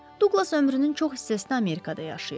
Duqlas ömrünün çox hissəsini Amerikada yaşayıb.